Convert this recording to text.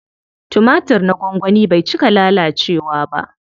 Tumatir na gwangwani bai cika lalacewa ba.